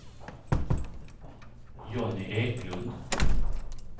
Johnny Ekelund